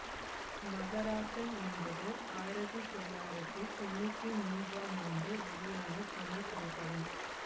மகராசன் என்பது ஆயிரத்தி தொள்ளாயிரத்தி தொன்னூற்தி மூன்றாம் ஆண்டு வெளியான தமிழ் திரைப்படம்